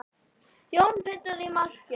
Jón Pétur í markið!